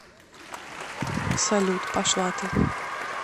салют пошла ты